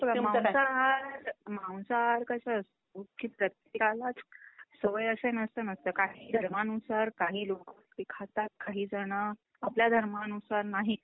मांसाहार, मांसाहार कसा असतो कि प्रत्येकालाच सवय असेल असं नसत कारण कि धर्मानुसार काही लोक ते खातात काहीजण आपापल्या धर्मानुसार नाही.